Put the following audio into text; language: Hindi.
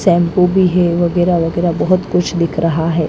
शैंपू भी हैं वगैरह वगैरह बहुत कुछ दिख रहा हैं ।